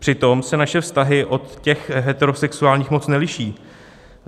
Přitom se naše vztahy od těch heterosexuálních moc neliší.